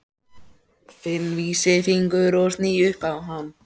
Finn vísifingur og sný upp á hann.